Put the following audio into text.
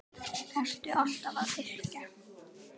Ertu alltaf að yrkja?